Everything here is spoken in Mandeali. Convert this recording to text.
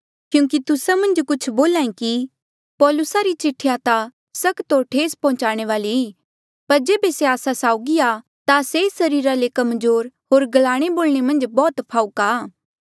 क्यूंकि तुस्सा मन्झ कुछ बोल्हा ऐें कि पौलुसा री चिठिया ता सख्त होर ठेस पौहुन्चाणे वाली ई पर जेबे से आस्सा साउगी आ ता से सरीरा ले कमजोर होर ग्लाणे बोलणे मन्झ बौह्त फाहूका आ